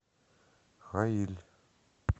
хаиль